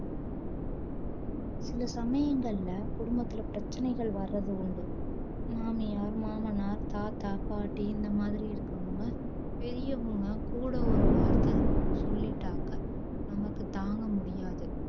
சில சமயங்கள்ள குடும்பத்துள பிரச்சனைகள் வரது உண்டு மாமியார் மாமனார் தாத்தா பாட்டி இந்த மாதிரி இருக்கவுங்க பெரியவுங்க கூட ஒரு வார்த்தை சொல்லிட்டாக்க நமக்கு தாங்க முடியாது